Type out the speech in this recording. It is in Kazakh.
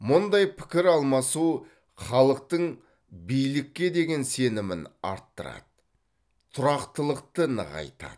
мұндай пікір алмасу халықтың билікке деген сенімін арттырады тұрақтылықты нығайтады